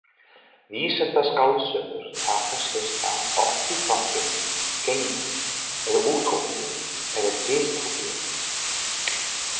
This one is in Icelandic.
Vísindaskáldsögur taka sér stað oft í framtíðinni, geimi eða útópíu eða dystópíu.